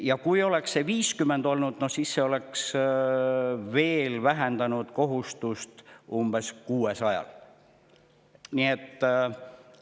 Ja kui oleks see 50 olnud, siis see oleks veel vähendanud kohustust umbes 600.